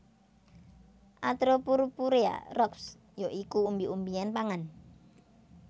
atropurpurea Roxb ya iku umbi umbian pangan